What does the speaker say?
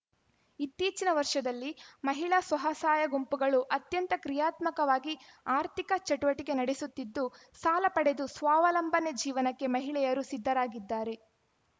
ಇತ್ತೀಚಿನ ವರ್ಷದಲ್ಲಿ ಮಹಿಳಾ ಸ್ವಸಹಾಯ ಗುಂಪುಗಳು ಅತ್ಯಂತ ಕ್ರಿಯಾತ್ಮಕವಾಗಿ ಆರ್ಥಿಕ ಚಟುವಟಿಕೆ ನಡೆಸುತ್ತಿದ್ದು ಸಾಲ ಪಡೆದು ಸ್ವಾವಲಂಬನೆ ಜೀವನಕ್ಕೆ ಮಹಿಳೆಯರು ಸಿದ್ಧರಾಗಿದ್ದಾರೆ